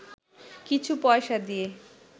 কিছু পয়সা দিয়ে